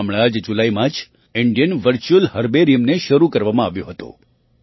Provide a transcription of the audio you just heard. હમણાં જ જુલાઈ મહિનામાં જ ઇન્ડિયન વર્ચ્યુઅલ હર્બેરિયમ ને શરૂ કરવામાં આવ્યું હતું